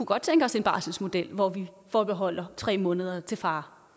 godt tænke os en barselsmodel hvor vi forbeholder tre måneder til far